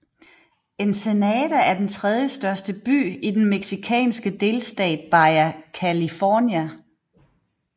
Ensenada er den tredje største by i den mexicanske delstat Baja California